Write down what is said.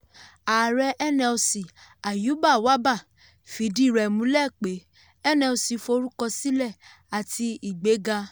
ààrẹ nlc ayuba wabba fìdí rẹ̀ múlẹ̀ pé nlc forúkọ sílẹ̀ àti ìgbéga.